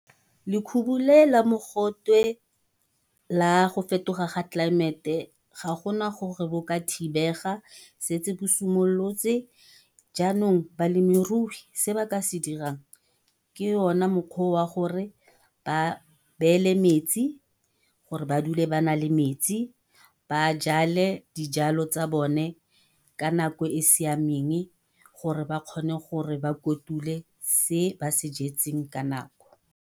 Lekhubu le la mogotwe la go fetoga ga tlelaemete, ga gona gore bo ka thibega setse bo simolotse. Jaanong balemirui se ba ka se dirang ke ona mokgwa wa gore ba beele metsi, gore ba dule ba na le metsi, ba jale dijalo tsa bone ka nako e siameng. Gore ba kgone gore ba kotule se ba se jetseng ka nako.